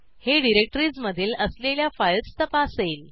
हे डिरेक्टरीजमधील असलेल्या फाईल्स तपासेल